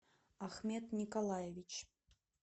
ахмет николаевич